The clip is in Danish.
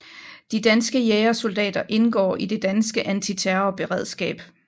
De danske jægersoldater indgår i det danske antiterrorberedskab